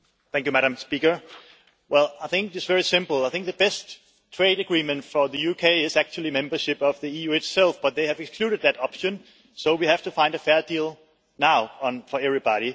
Madam President, I think it is very simple I think the best trade agreement for the UK is actually membership of the EU itself, but they have excluded that option so we have to find a fair deal now for everybody.